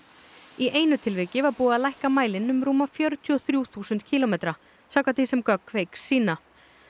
í einu tilviki var búið að lækka mælinn um rúma fjörutíu og þrjú þúsund kílómetra samkvæmt því sem gögn Kveiks sýna